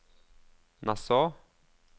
Nassau